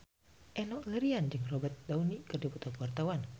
Enno Lerian jeung Robert Downey keur dipoto ku wartawan